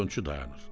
Faytonçu dayanır.